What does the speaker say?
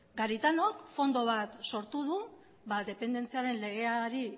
garitanok fondo bat sortu du dependentziaren legean